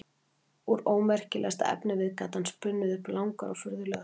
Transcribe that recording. Úr ómerkilegasta efnivið gat hann spunnið upp langar og furðulegar sögur.